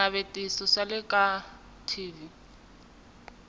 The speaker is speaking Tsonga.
swinavetiso swa le ka t